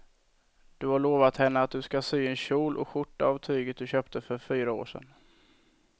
Du har lovat henne att du ska sy en kjol och skjorta av tyget du köpte för fyra år sedan.